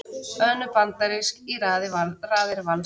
Önnur bandarísk í raðir Vals